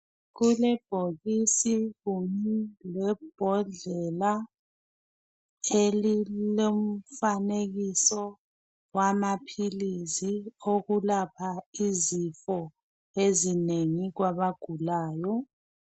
Kulebhokisi lebhodlela elilomfanekiso wamaphilisi wokulapha izifo ezinengi kwabagulayo.